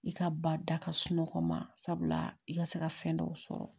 I ka ba da ka sunɔgɔ ma sabula i ka se ka fɛn dɔw sɔrɔ